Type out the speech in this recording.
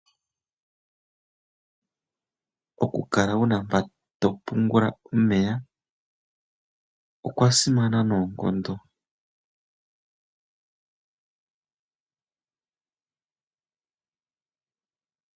Okukala wu na mpa to pungula omeya, okwasimana noonkondo.